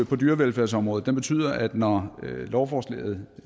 på dyrevelfærdsområdet betyder at vi når lovforslaget